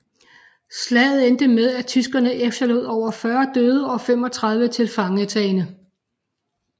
Slaget endte med at tyskerne efterlod over 40 døde og 35 tilfangetagne